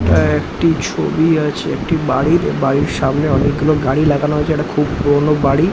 আ একটি ছবি আছে একটি বাড়ির। বাড়ির সামনে অনেকগুলো গাড়ি লাগানো হয়েছে। একটা খুব পুরনো বাড়ি।